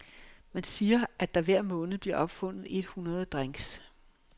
Man siger, at der hver måned bliver opfundet et hundrede drinks.